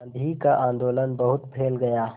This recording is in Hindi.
गांधी का आंदोलन बहुत फैल गया